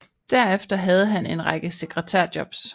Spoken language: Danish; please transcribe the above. Derefter havde han en række sekretær jobs